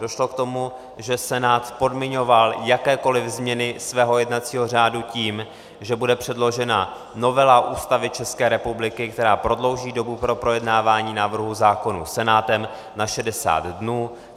Došlo k tomu, že Senát podmiňoval jakékoli změny svého jednacího řádu tím, že bude předložena novela Ústavy České republiky, která prodlouží dobu pro projednávání návrhů zákonů Senátem na 60 dnů.